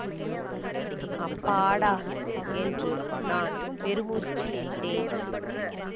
அப்பாடா என்று நான் பெருமூச்சு விட்டேன்